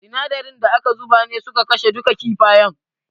Sinadaran da aka zuba ne suka kashe duka kifayen.